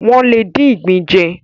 Wọ́n lè dín ìgbín jẹ.